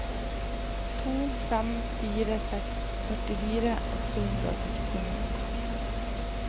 to fem fire seks førtifire åtte hundre og sekstini